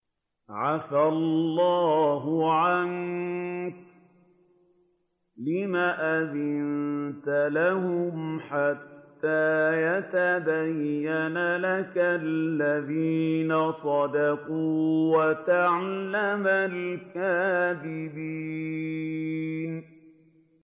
عَفَا اللَّهُ عَنكَ لِمَ أَذِنتَ لَهُمْ حَتَّىٰ يَتَبَيَّنَ لَكَ الَّذِينَ صَدَقُوا وَتَعْلَمَ الْكَاذِبِينَ